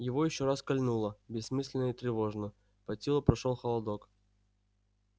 его ещё раз кольнуло бессмысленно и тревожно по телу прошёл холодок